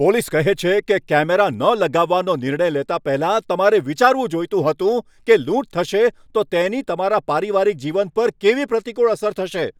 Police કહે છે કે, કેમેરા ન લગાવવાનો નિર્ણય લેતા પહેલા તમારે વિચારવું જોઈતું હતું કે લૂંટ થશે તો તેની તમારા પારિવારિક જીવન પર કેવી પ્રતિકૂળ અસર થશે.